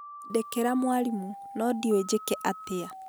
ndekera mwarimũ, no ndiũĩ njĩke atĩa